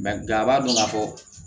a b'a dɔn ka fɔ